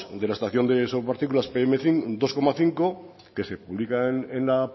de la estación sobre partículas dos coma cinco que se publican en la